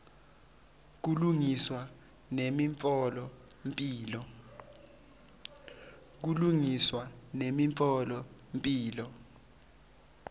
kulungiswa nemitfola mphilo